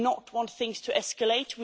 We do not want things to escalate.